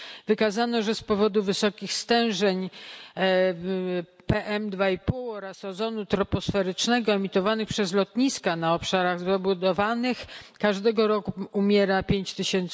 Wykazano, że z powodu wysokich stężeń PM2,5 oraz ozonu troposferycznego emitowanych przez lotniska na obszarach zabudowanych każdego roku umiera 5 tyś.